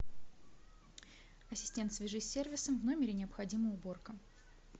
ассистент свяжись с сервисом в номере необходима уборка